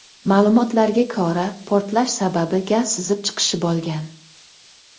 Ma’lumotlarga ko‘ra, portlash sababi gaz sizib chiqishi bo‘lgan.